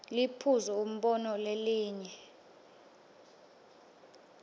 liphuzu umbono lelinye